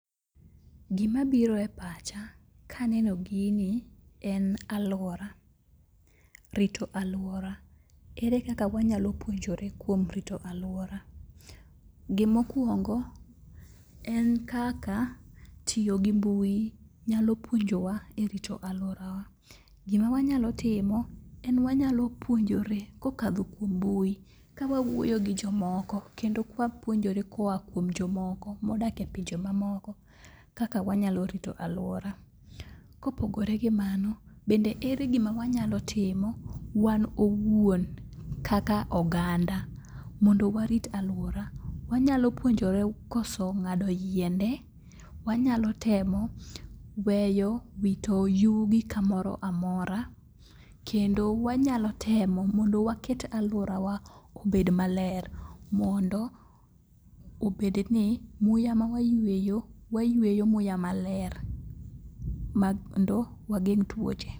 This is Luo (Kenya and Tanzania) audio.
Gimabiro e pacha kaneno gini en alwora, rito alwora. Ere kaka wanyalo puonjore kuom rito alwora. Gimokwongo en kaka tiyo gi mbui nyalo puonjowa e rito alworawa. Gima wanyalo timo en wanyalo puonjore kokadho kuom mbui ka wawuoyo gi jomoko kendo kwapuonjore koa kuom jomoko modak e pinje mamoko kaka wanyalo rito alwora. Kopogore gi mano, bende ere gima wanyalo timo wan owuon kaka oganda mondo warit alwora. Wanyalo puonjore koso ng'ado yiende, wanyalo temo weyo wito yugi kamoro amora, kendo wanyalo temo mondo waket alworawa obed maler mondo obedni muya ma wayueyo wayueyo muya maler makendo wageng' tuoche.